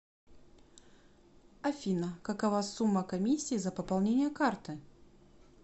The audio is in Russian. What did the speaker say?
афина какова сумма комиссии за пополнение карты